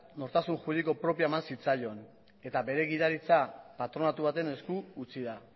nortasun juridiko propioa eman zitzaion eta bere gidaritza patronatu baten esku utzi da